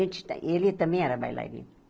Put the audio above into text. E ele também era bailarino.